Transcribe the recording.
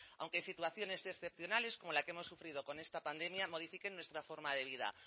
aunque situaciones excepcionales como la que hemos vivido con esta pandemia modifiquen nuestra forma de vida